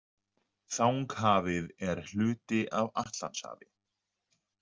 Þanghafið er hluti af Atlantshafi.